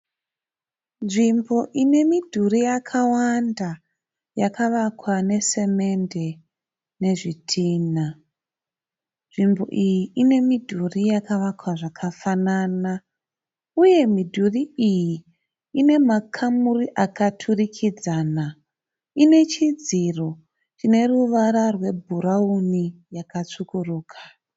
Nzvimbo ine midhurii yakawanda yakavakwa nesemende nezvidhinha. Nzvimbo iyi inemidhuri yakavakwa zvakafanana. Uye midhurii iyi ine makamuri akaturikidzana. Ine chidziro chine ruvara rwe bhurauni yakatsvukuruka.